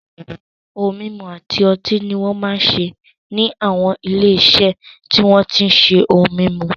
Ohun mímu àti ọtí ni won máa ń ṣe ní àwọn ilé-iṣẹ́ tí wọ́n tí ń ṣe ohun mímu.